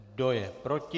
Kdo je proti?